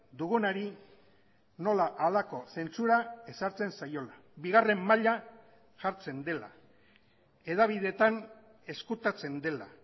dugunari nola halako zentzura ezartzen zaiola bigarren maila jartzen dela hedabideetan ezkutatzen dela